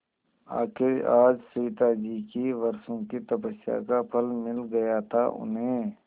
आखिर आज सविताजी की वर्षों की तपस्या का फल मिल गया था उन्हें